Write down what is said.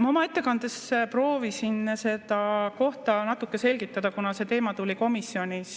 Ma oma ettekandes proovisin seda kohta natuke selgitada, kuna see teema tuli komisjonis